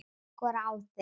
Ég skora á þig!